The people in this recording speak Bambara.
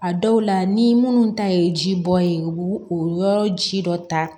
A dɔw la ni munnu ta ye ji bɔ ye u b'u o yɔrɔ ji dɔ ta